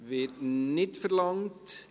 Das Wort wird nicht verlangt.